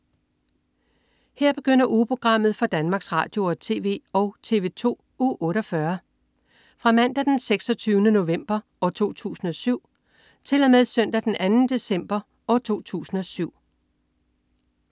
Her begynder ugeprogrammet for Danmarks Radio- og TV og TV2 Uge 48 Fra Mandag den 26. november 2007 Til Søndag den 2. december 2007